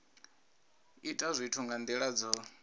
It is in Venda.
ita zwithu nga nila dzo